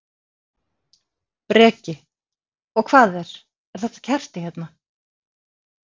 Breki: Og hvað er, er þetta kerti hérna?